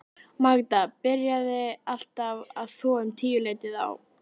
Magda byrjaði alltaf að þvo um tíuleytið á